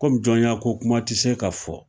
Kɔmi jɔnya ko kuma tɛ se ka fɔ